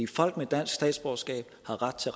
folk med dansk statsborgerskab har ret til